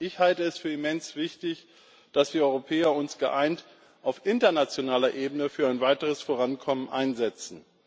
Ich halte es für immens wichtig, dass wir Europäer uns geeint auf internationaler Ebene für ein weiteres Vorankommen einsetzen.